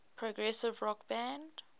progressive rock band